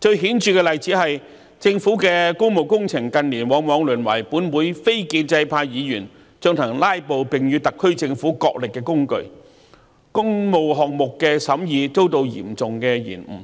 最顯著的例子是政府的工務工程近年往往淪為本會非建制派議員進行"拉布"及與特區政府角力的工具，令工務項目的審議遭到嚴重延誤。